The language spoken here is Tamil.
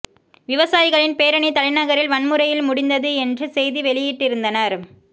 விவசாயிகளின் பேரணி தலைநகரில் வன்முறையில் முடிந்தது என்று செய்தி வெளியிட்டிருந்தனர்